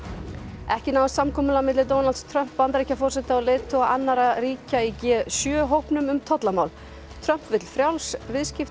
ekki náðist samkomulag milli Donalds Trump Bandaríkjaforseta og leiðtoga annarra ríkja í g sjö hópnum um tollamál Trump vill frjáls viðskipti